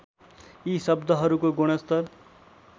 यी शब्दहरूको गुणस्तर